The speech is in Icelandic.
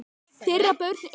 Þeirra börn eru.